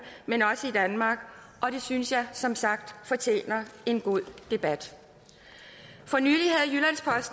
men også i danmark det synes jeg som sagt fortjener en god debat for nylig